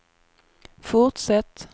fortsätt